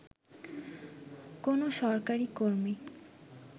কোনও সরকারী কর্মী